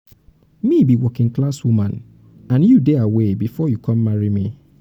me be working class woman and you dey aware before you come marry me.